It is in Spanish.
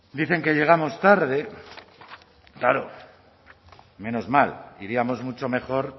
dicen que llegamos tarde claro menos mal iríamos mucho mejor